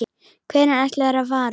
Hvenær ætlarðu að fara?